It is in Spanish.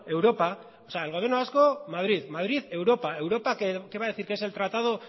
europa o sea el gobierno vasco madrid madrid europa europa qué va a decir que es el tratado